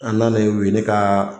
An nanen u ye ne ka